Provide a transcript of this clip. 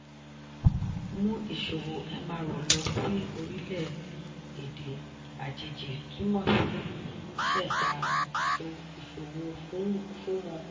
mú ìṣòwò mro lọ sí orilẹ-èdè àjèjì túmọ̀ sí ṣẹ̀dá ìṣòwò fún wọn.